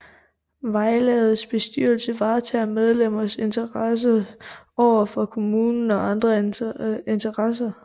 Vejlavets bestyrelse varetager medlemmernes interesser overfor kommunen og andre interessenter